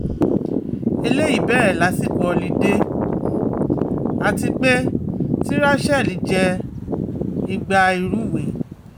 eleyi bere lasiko họlidé um ati pe ti rachelle je Ìgbà ìrúwé